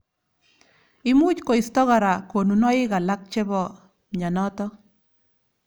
Imuch koisto kora konunoik alak chebo mnyenotok.